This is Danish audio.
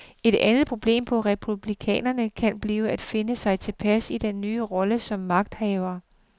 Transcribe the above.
Et andet problem for republikanerne kan blive at finde sig tilpas i den nye rolle som magthavere.